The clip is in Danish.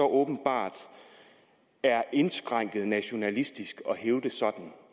åbenbart er indskrænket nationalistisk at hævde sådan